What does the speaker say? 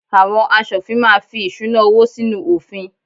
Àwọn aṣòfin máa fí ìṣúná-owó sínú òfin.